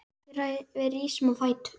Við rísum á fætur.